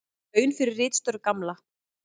Laun fyrir ritstörf Gamla.